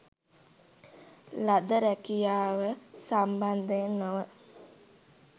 ලද රැකියාව සම්බන්ධයෙන් නොව